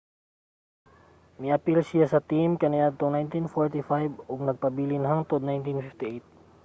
miapil siya sa team kaniadtong 1945 ug nagpabilin hangtod 1958